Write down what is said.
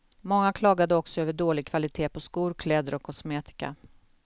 Många klagade också över dålig kvalitet på skor, kläder och kosmetika.